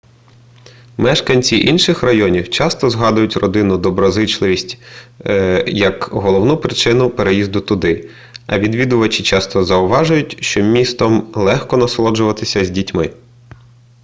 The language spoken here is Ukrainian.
мешканці інших районів часто згадують родинну доброзичливість як головну причину переїзду туди а відвідувачі часто зауважують що містом легко насолоджуватися з дітьми